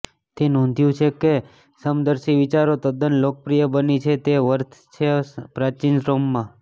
તે નોંધ્યું છે કે સમદર્શી વિચારો તદ્દન લોકપ્રિય બની છે વર્થ છે પ્રાચીન રોમમાં